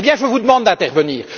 Je vous demande d'intervenir.